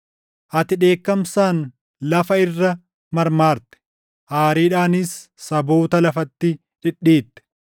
Ati dheekkamsaan lafa irra marmaarte; aariidhaanis saboota lafatti dhidhiitte.